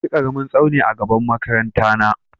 Akwai ƙaramin tsauni a gaban makaranta na.